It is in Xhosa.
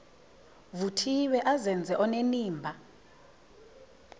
vuthiwe azenze onenimba